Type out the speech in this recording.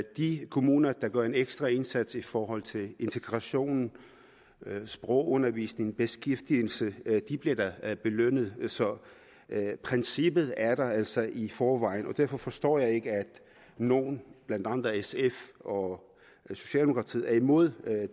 de kommuner der gør en ekstra indsats i forhold til integration sprogundervisning beskæftigelse bliver da da belønnet så princippet er der altså i forvejen derfor forstår jeg ikke at nogle blandt andre sf og socialdemokratiet er imod